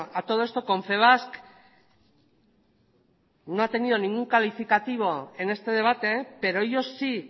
a todo esto confebask no ha tenido ningún calificativo en este debate pero ello sí